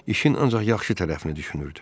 İşin ancaq yaxşı tərəfini düşünürdü.